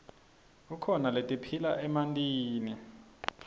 kukhona letiphila emantini